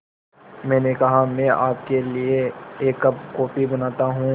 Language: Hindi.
मैंने कहा मैं आपके लिए एक कप कॉफ़ी बनाता हूँ